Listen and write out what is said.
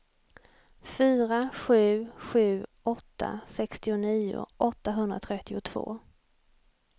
fyra sju sju åtta sextionio åttahundratrettiotvå